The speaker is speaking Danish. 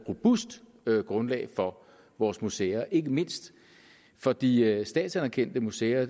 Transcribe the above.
robust grundlag for vores museer ikke mindst for de statsanerkendte museer